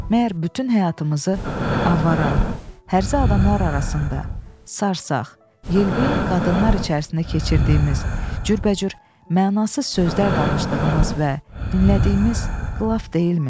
Məgər bütün həyatımızı avara, hərzə adamlar arasında, sarsaq, yelbeyin qadınlar içərisində keçirdiyimiz, cürbəcür mənasız sözlər danışdığımız və dinlədiyimiz qılaf deyilmi?